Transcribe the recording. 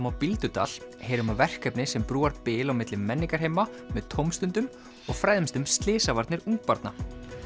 á Bíldudal heyrum af verkefni sem brúar bil milli menningarheima með tómstundum og fræðumst um slysavarnir ungbarna